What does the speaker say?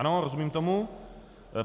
Ano, rozumím tomu?